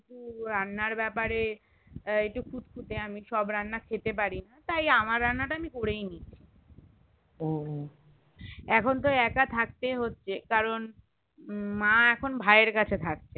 রান্নার বেপারে একটু খুদখুডে আমি সব রান্না আমি খেতে পারি তাই আমার রান্নাটা আমি করেইনি এখন তো একা থাকতেই হচ্ছে কারণ মা এখন ভাইয়ের কাছে থাকছে